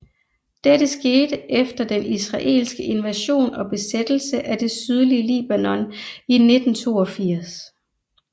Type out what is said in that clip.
Dette skete efter den israelske invasion og besættelse af det sydlige Libanon i 1982